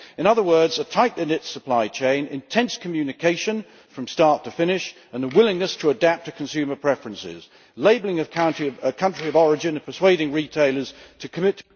In other words, a tightly knit supply chain, intense communication from start to finish, and a willingness to adapt to consumer preferences, labelling of country of origin and persuading retailers to commit